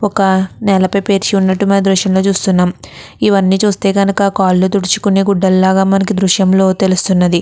ఒక నేలపై పెరిచి వున్నటు గ దృశ్యం లో చూడొచ్చు ఇవ్వని చూస్తే గనుక కాళ్ళు తుడుచుకునే గుడ్డలు ల మనకి తెలుస్తున్నది.